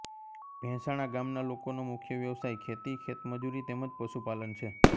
ભેંસાણા ગામના લોકોનો મુખ્ય વ્યવસાય ખેતી ખેતમજૂરી તેમ જ પશુપાલન છે